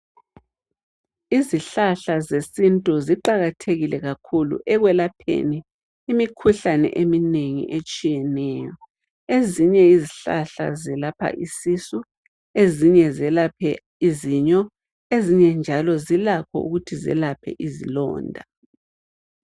Izihlahla zesintu ziqakathekile kakhulu ekwelapheni imikhuhlane eminengi etshiyeneyo. Ezinye izihlahla zelapha isisu, ezinye zelaphe izinyo, ezinye njalo zilakho ukuthi zelaphe izilonda.